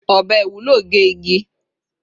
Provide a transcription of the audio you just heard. Ọbẹ Iwulo ge igi